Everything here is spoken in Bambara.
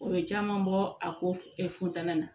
O ye caman bɔ a ko f funteni na